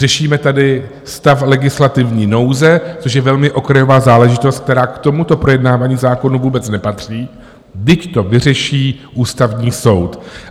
Řešíme tady stav legislativní nouze, což je velmi okrajová záležitost, která k tomuto projednávání zákonu vůbec nepatří, vždyť to vyřeší Ústavní soud.